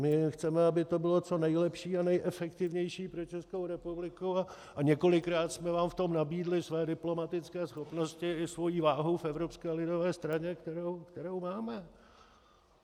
My chceme, aby to bylo co nejlepší a nejefektivnější pro Českou republiku, a několikrát jsme vám v tom nabídli své diplomatické schopnosti i svoji váhu v Evropské lidové straně, kterou máme.